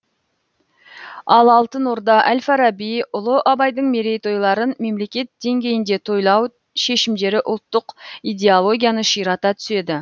ал алтын орда әл фараби ұлы абайдың мерейтойларын мемлекет деңгейінде тойлау шешімдері ұлттық идеологияны ширата түседі